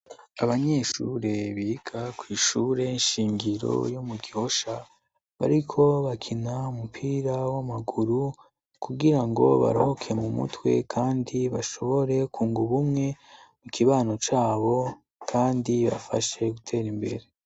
Abanyeshure biga kw'ishure nshingiro yo mu gihosha bariko bakina umupira w'amaguru kugira ngo barohoke mu mutwe, kandi bashobore ku ngubumwe mu kibano cabo, kandi bafashe gutera imbere.